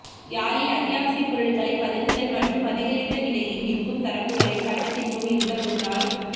யாழில் அத்தியாவசிய பொருட்களை பதுக்குதல் மற்றும் அதிகரித்த விலையில் விற்கும் தரப்புக்களை சட்டத்தின் முன் நிறுத்த முன்னாள்